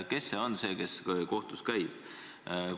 Kes on siis see, kes kohtus käib?